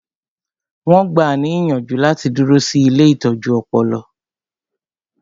Wọn gbáà ní ìyànjú láti dúró sí ilée ìtọ́jú ọpọlọ